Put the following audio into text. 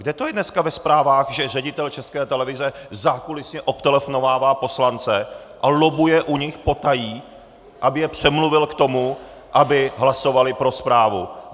Kde to je dneska ve zprávách, že ředitel České televize zákulisně obtelefonovává poslance a lobbuje u nich potají, aby je přemluvil k tomu, aby hlasovali pro zprávu?